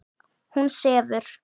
Hún sefur.